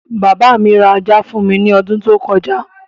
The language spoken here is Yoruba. Bàbá mi ra ajá fún mi ní odún tó kọjá.